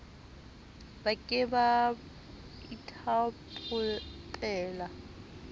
ba ke ba ba ithaopela